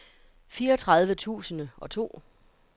fireogtredive tusind og to